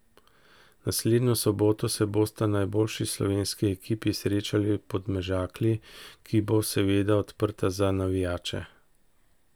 Naslednjo soboto se bosta najboljši slovenski ekipi srečali v Podmežakli, ki bo seveda odprta za navijače.